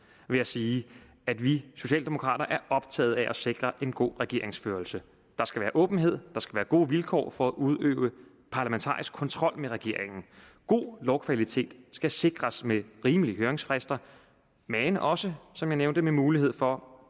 vil jeg sige at vi socialdemokrater er optaget af at sikre en god regeringsførelse der skal være åbenhed der skal være gode vilkår for at udøve parlamentarisk kontrol med regeringen god lovkvalitet skal sikres med rimelige høringsfrister men også som jeg nævnte med mulighed for